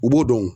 U b'o dɔn